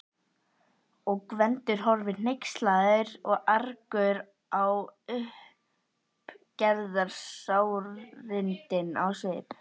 Og Gvendur horfir hneykslaður og argur á uppgerðarsárindin í svip